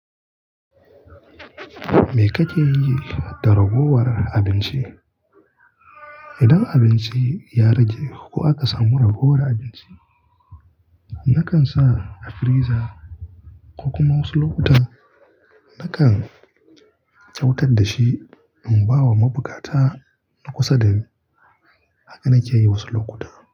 Me ka ke yi da ragowar abinci? Idan abinci ya rage ko aka samu ragowar abinci, na kan sa a firiza ko kuma wasu lokuta na kan kyautar da shi in ba wa mabuƙata na kusa da ni. Haka na ke yi wasu lokuta.